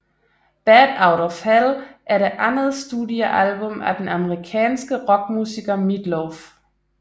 Bat Out of Hell er det andet studiealbum af den amerikanske rockmusiker Meat Loaf